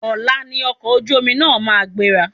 Ọ̀la ni ọkọ̀ ojú omi ma gbéra.